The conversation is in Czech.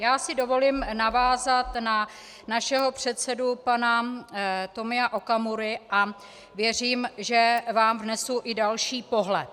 Já si dovolím navázat na našeho předsedu pana Tomia Okamuru a věřím, že vám vnesu i další pohled.